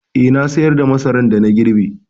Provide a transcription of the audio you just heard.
Eh, na sayar da masaran da na girbe.